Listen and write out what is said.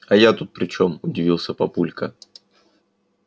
а я тут при чём удивился папулька